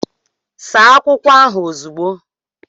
Saa akwụkwọ ahụ ozugbo!